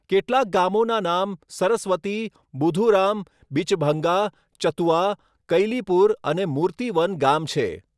કેટલાક ગામોનાં નામ સરસ્વતી, બુધુરામ, બિચભંગા, ચતુઆ, કૈલીપુર અને મૂર્તિ વન ગામ છે.